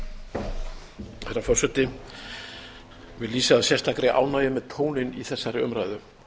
herra forseti ég vil lýsa sérstakri ánægju með tóninn í þessari umræðu